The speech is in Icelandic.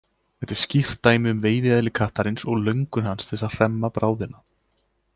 Þetta er skýrt dæmi um veiðieðli kattarins og löngun hans til að hremma bráðina.